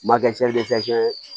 Ma kɛ ye